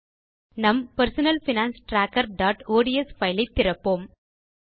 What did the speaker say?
நம் personal finance trackerஒட்ஸ் file ஐ திறப்போம்